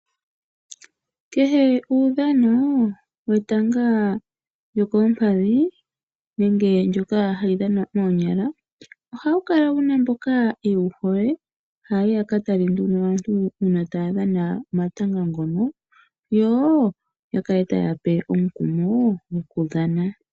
Kehe uudhano wetanga lyokoompadhi nenge ndyoka hali dhanwa moonyala, ohawu kala wu na mboka yewu hole haya yi ya ka tale uuna aantu taya dhana omatanga ngoka yo ya kale taye ya pe omukumo gokudhana.